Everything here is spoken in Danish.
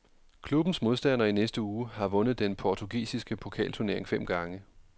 Klubbens modstander i næste uge har vundet den portugisiske pokalturnering fem gange.